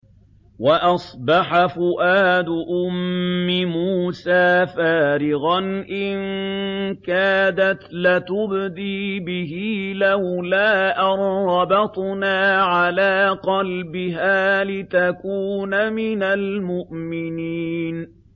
وَأَصْبَحَ فُؤَادُ أُمِّ مُوسَىٰ فَارِغًا ۖ إِن كَادَتْ لَتُبْدِي بِهِ لَوْلَا أَن رَّبَطْنَا عَلَىٰ قَلْبِهَا لِتَكُونَ مِنَ الْمُؤْمِنِينَ